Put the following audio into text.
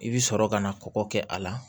I bɛ sɔrɔ ka na kɔkɔ kɛ a la